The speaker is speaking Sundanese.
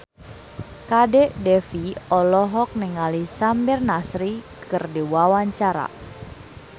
Kadek Devi olohok ningali Samir Nasri keur diwawancara